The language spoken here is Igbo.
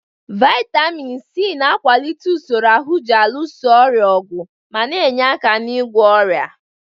Vaịtamin Sii na-akwalite usoro ahụ ji alụso ọrịa ọgụ ma na-enye aka n'ịgwọ ọnya.